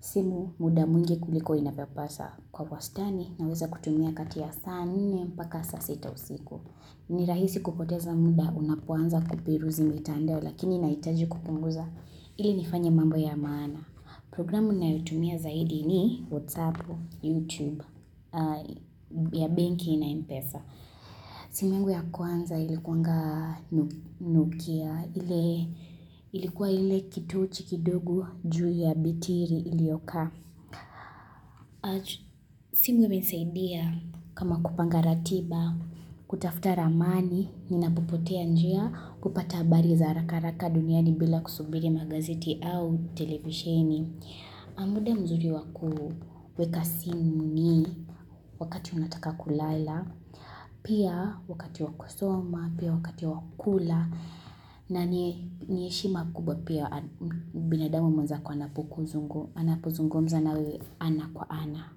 simu muda mwingi kuliko inavyopasa kwa wastani na weza kutumia kati ya saa nne mpaka saa sita usiku. Ni rahisi kupoteza muda unapoanza kuperuzi mitandao lakini inahitaji kupunguza ili nifanye mambo ya maana. Programu ninayo tumia zaidi ni WhatsApp, YouTube ya benki na m-pesa. Simu yangu ya kwanza ilikuanga nokia ilikuwa ile kitochi kidogo juu ya betri iliyoka. Simu imenisaidia kama kupanga ratiba kutafuta ramani ninapopotea njia kupata habari za haraharaka duniani bila kusubiri magazeti au televisheni. Na muda mzuri wakuweka simu ni wakati unataka kulala, pia wakati wakusoma, pia wakati wakula na niheshima kubwa pia binadamu mwenzako anapozungumza na wewe ana kwa ana.